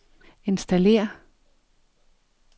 installér